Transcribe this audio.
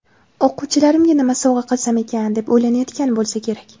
o‘quvchilarimga nima sovg‘a qilsam ekan deb o‘ylanayotgan bo‘lsa kerak.